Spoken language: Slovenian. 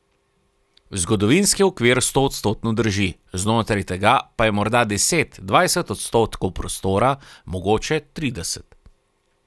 Zgodovinski okvir stoodstotno drži, znotraj tega pa je morda deset, dvajset odstotkov prostora, mogoče trideset.